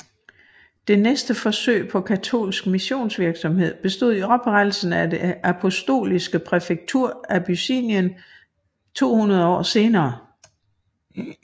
Det næste forsøg på katolsk missionsvirksomhed bestod i oprettelsen af det apostoliske præfektur Abyssinien to hundrede år senere